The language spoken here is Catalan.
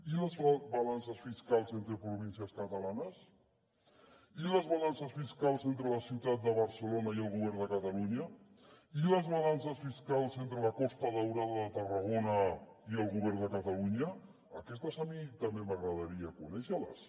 i les balances fiscals entre províncies catalanes i les balances fiscals entre la ciutat de barcelona i el govern de catalunya i les balances fiscals entre la costa daurada de tarragona i el govern de catalunya aquestes a mi també m’agradaria conèixer les